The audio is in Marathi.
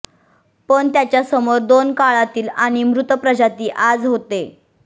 पण त्याच्या समोर दोन काळातील आणि मृत प्रजाती आज होते